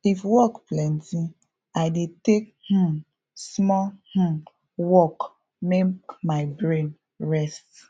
if work plenty i dey take um small um walk make my brain rest